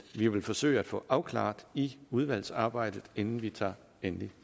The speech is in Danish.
vi vil forsøge at få afklaret i udvalgsarbejdet inden vi tager endelig